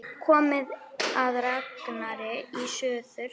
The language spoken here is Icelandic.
Komið að Ragnari í suður.